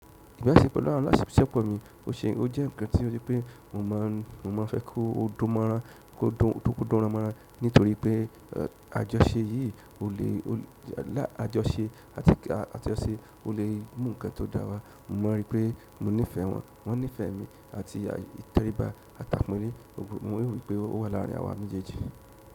Ìgbà tí mo kọ́ lára àsìkò mi, ó ṣe, ó jẹ́ nǹkan tí ó jẹ́ pé mo mọ̀, mo mọ̀ fẹ́ kó ó dan mọ́ran, kó dún, kó dún mọ́ran nítorí pé àjọṣe yìí o lè, lá àjọṣe àti àjọṣe o lè mú ǹkan tó dára. Mo mọ̀ wípé mo nífẹ̀ẹ́ wọn, wọ́n nífẹ̀ẹ́ mi àti tẹríba àtàpọ̀ nínú, mo rí wípé ó wà láàrin ara wa mejeẹjì.